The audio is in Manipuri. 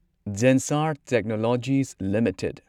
Zensar technologies limited